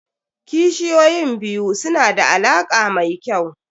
Kishiyoyin biyu su na da alaƙa mai kyau.